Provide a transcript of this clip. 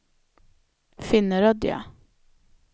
Finnerödja